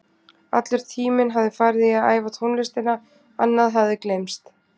Allur tíminn hafði farið í að æfa tónlistina, annað hafði gleymst.